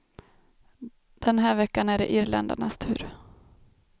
Den här veckan är det irländarnas tur.